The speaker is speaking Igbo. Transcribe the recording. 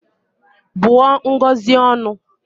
Bụọ Ngozi ọnụ!